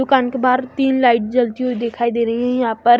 दुकान के बाहर तीन लाइट जलती हुई दिखाई दे रहीं यहां पर--